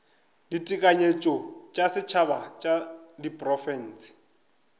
ditekanyetšo tša setšhaba tša diprofense